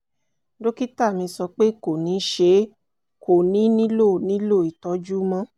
dókítà mi sọ pé kò ní ṣe é; kò ní nílò nílò ìtọ́jú mọ́